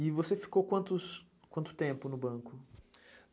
E você ficou quanto tempo no banco?